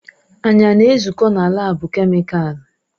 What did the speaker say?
Anyị a na-ezukọ na laabu kemịkalụ?